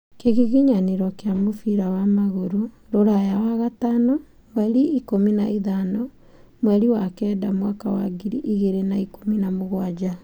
Kĩgiginyanĩro kĩa mũbira wa magũrũ ũraya wagatano mweri ikũmi na ithano mweri wa kenda mwaka wa ngiri igĩrĩ na ikũmi na mũgwanja.